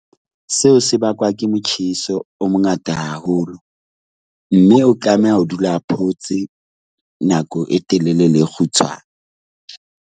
Seo se bakwa ke motjheso o mongata haholo mme o tlameha ho dula a photse nako e telele le e kgutshwane.